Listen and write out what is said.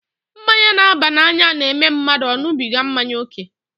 Mmanya n'aba n'anya n'eme mmadụ ọ ṅubiga mmanya ókè